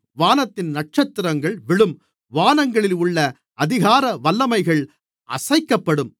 வானத்தின் நட்சத்திரங்கள் விழும் வானங்களில் உள்ள அதிகார வல்லமைகள் அசைக்கப்படும்